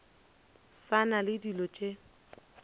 sa na le dilo tše